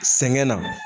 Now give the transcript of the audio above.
Sɛŋɛn na